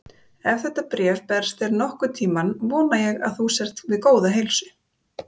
Ef þetta bréf berst þér nokkurn tímann, vona ég að þú sért við góða heilsu.